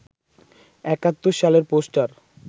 ৭১ সালের পোষ্টার